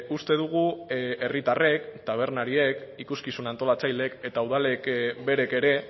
uste dugu herritarrek tabernariek ikuskizun antolatzaileek eta udalek berek ere